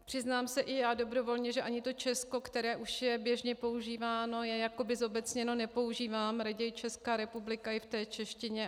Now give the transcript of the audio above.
Přiznám se i já dobrovolně, že ani to Česko, které už je běžně používáno, je jakoby zobecněno, nepoužívám, raději Česká republika i v té češtině.